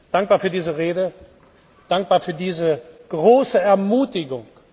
Dankbar für diese Rede, dankbar für diese große Ermutigung.